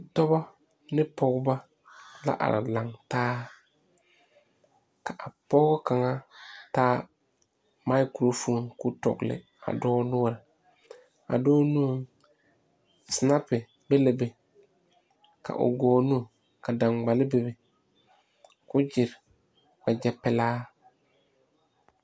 Dɔbɔ ne pɔgeba la are laŋ taa ka a pɔge kaŋa taa maakorofoni k'o dɔgle a dɔɔ noɔreŋ a dɔɔ nuŋ sinapi be la be ka o gɔɔ nu ka daŋgbale bebe 'wagyɛpelaa.